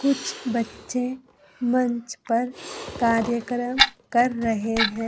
कुछ बच्चे मंच पर कार्यक्रम कर रहे हैं।